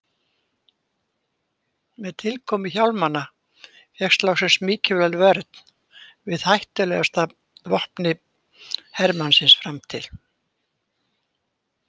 Með tilkomu hjálmanna fékkst loksins mikilvæg vörn við hættulegasta vopni hermannsins fram til þessa, kylfunni.